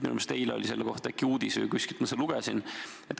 Minu meelest oli eile selle kohta uudis, kuskilt ma seda lugesin.